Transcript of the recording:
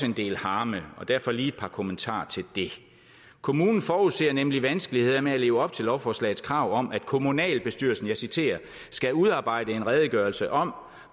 en del harme derfor lige et par kommentarer til det kommunen forudser nemlig vanskeligheder med at leve op til lovforslagets krav om at kommunalbestyrelsen skal udarbejde en redegørelse om